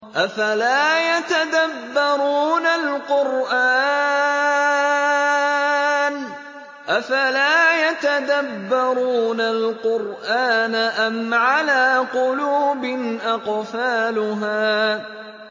أَفَلَا يَتَدَبَّرُونَ الْقُرْآنَ أَمْ عَلَىٰ قُلُوبٍ أَقْفَالُهَا